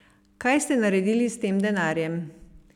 Kaj ste naredili s tem denarjem?